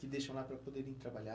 Que deixam lá para poderem trabalhar.